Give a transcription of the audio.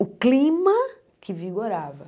O clima que vigorava.